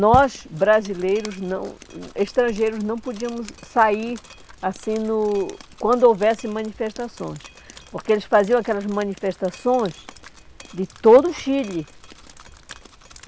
Nós, brasileiros não, hum estrangeiros, não podíamos sair assim no quando houvesse manifestações, porque eles faziam aquelas manifestações de todo o Chile.